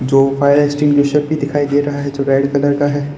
तो fire extinguisher भी दिखाई दे रहा है जो रेड कलर का है।